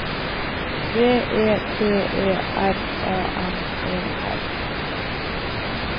V E T E R A N E R